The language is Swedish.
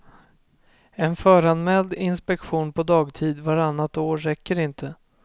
En föranmäld inspektion på dagtid vartannat år räcker inte.